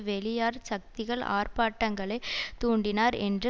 வெளியார் சக்திகள் ஆர்ப்பாட்டங்களைத் தூண்டினார் என்ற